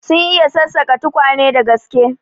Sun iya sassaka tukwane da gaske.